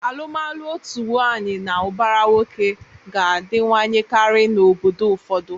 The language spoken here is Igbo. Alụmalụ otu nwaanyị na ụbara nwoke ga-adịwanyekarị n'obodo ụfọdụ.